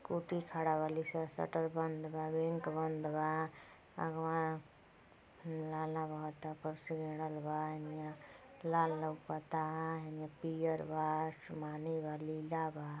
scooty खड़ा बाली shutter बंद बा बैंक बंद बा अगवा नाला बहता ऊपर से गेरल बा एनिया लाल लउकता हेने पियर बा आसमानी बानीला बा --